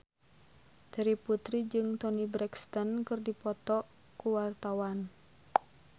Terry Putri jeung Toni Brexton keur dipoto ku wartawan